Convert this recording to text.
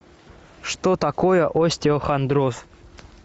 что такое остеохондроз